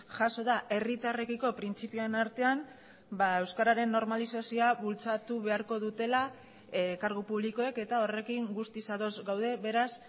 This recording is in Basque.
jaso da herritarrekiko printzipioen artean euskararen normalizazioa bultzatu beharko dutela kargu publikoek eta horrekin guztiz ados gaude beraz